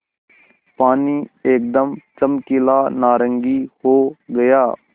पानी एकदम चमकीला नारंगी हो गया